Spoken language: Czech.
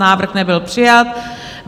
Návrh nebyl přijat.